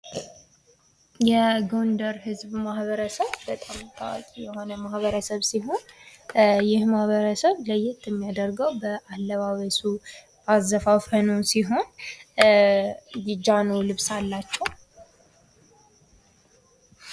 የጎንደር ህዝብ ማኅበረሰብ በጣም ታዋቂ የሆነ ማኅበረሰብ ሲሆን ይህ ማኅበረሰብ ለየት የሚያደርገው በአለባበሱ በአዘፋፈኑ ሲሆን የጃኖ ልብስ አላቸው ።